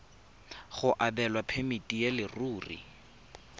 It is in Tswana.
go abelwa phemiti ya leruri